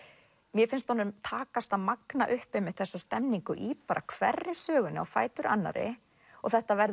mér finnst honum takast að magna upp þessa stemningu í bara hverri sögunni á fætur annarri og þetta verður